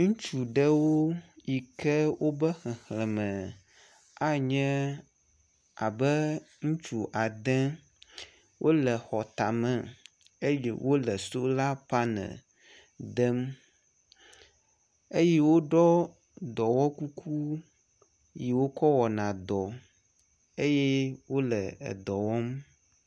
Ŋutsu ɖewo yi ke wobe xexleme anye abe ŋutsu ade. Wo le xɔ tame eye sola panel dem eye woɖɔ dɔwɔkuku yi wokɔ wɔna dɔ eye wo le edɔ wɔm.